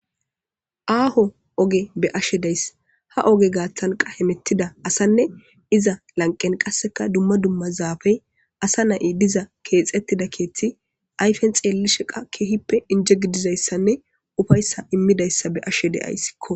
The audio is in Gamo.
Aaho oge beashe days haoge gaaththanqa hemettida asanne iza lanqen qasseka dumma dumma zaafey asa na'i diza keexettida keeththi ayfen xeelli sheqa keehippe injegidizayssanne ufayssa immidayssa beashe deayssikko.